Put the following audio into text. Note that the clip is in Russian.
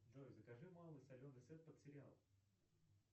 джой закажи малый соленый сет под сериал